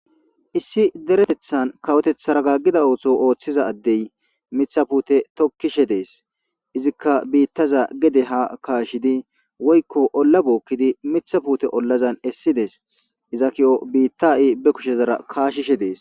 Issi deretethan kawoteththara gaggida ooto ooththiza addey mitha puute tokkishe dees izikka biittaza gede ha kaashidi woykko olla bookkidi mitha puute ollazan essides iza kiyo biittai be kushezara kaashishe dees